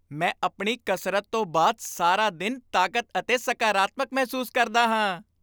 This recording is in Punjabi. ਮੈਂ ਆਪਣੀ ਕਸਰਤ ਤੋਂ ਬਾਅਦ ਸਾਰਾ ਦਿਨ ਤਾਕਤ ਅਤੇ ਸਕਾਰਾਤਮਕ ਮਹਿਸੂਸ ਕਰਦਾ ਹਾਂ।